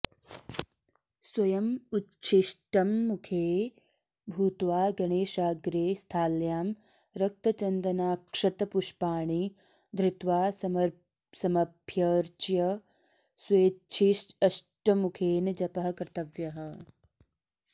स्वयमुच्छिष्टमुखे भूत्वा गणेशाग्रे स्थाल्यां रक्तचन्दनाक्षतपुष्पाणि धृत्वा समभ्यर्च्य स्वेच्छिष्टमुखेन जपः कर्तव्यः